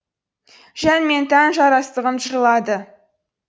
жан мен тән жарастығын жырлады